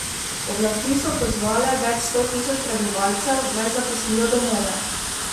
Oblasti so pozvale več sto tisoč prebivalcev, naj zapustijo domove.